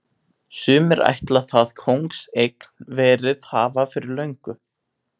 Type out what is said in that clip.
Sumir ætla það kóngseign verið hafa fyrir löngu.